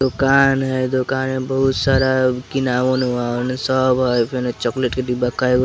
दुकान हेय दुकान में बहुत सारा किनाऊन ऊनाउन सब हेय फेनो चॉकलेट के डिब्बा काईगो--